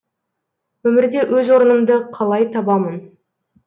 өмірде өз орнымды қалай табамын